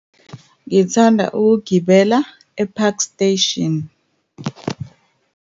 Ngithanda ukugibela e-Park Station.